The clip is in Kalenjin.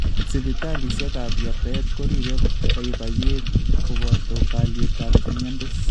Sibitaliisiekab yabtaet koriiibe baybayeet kobooto kaalyeetab chemyontos